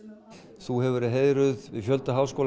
þú hefur verið heiðruð við fjölda háskóla